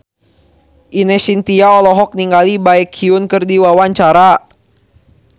Ine Shintya olohok ningali Baekhyun keur diwawancara